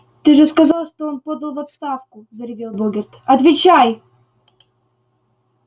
ты же сказал что он подал в отставку заревел богерт отвечай